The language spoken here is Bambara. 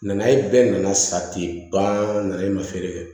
Nanaye bɛɛ nana sa ten balen ma feere